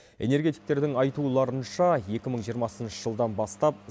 энергетиктердің айтуларынша екі мың жиырмасыншы жылдан бастап